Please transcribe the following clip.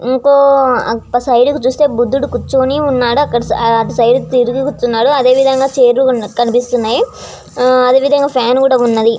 ఇంకో సైడ్ చూస్తే బుధుడు కూర్చొని ఉన్నాడు అటు సైడ్ కి తిరిగి కూర్చున్నాడు అదే విధంగా చైర్స్ ఉన్నాయి ఫాన్స్ కూడా ఉన్నాయి .